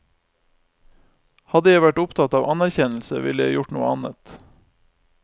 Hadde jeg vært opptatt av anerkjennelse, ville jeg gjort noe annet.